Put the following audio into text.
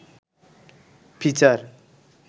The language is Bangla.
ফিচার